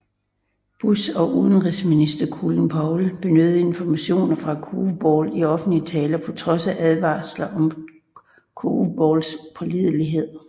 Bush og udenrigsminister Colin Powell benyttede informationerne fra Curveball i offentlige taler på trods af advarsler om Curveballs pålidelighed